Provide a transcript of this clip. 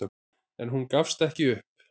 En hún gafst ekki upp.